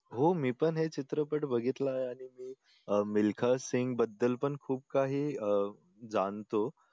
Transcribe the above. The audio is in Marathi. हो मी पण हे चित्रपट बघितला आहे अह मिल्खासिंग बद्दल पण खूप काही अह जाणतो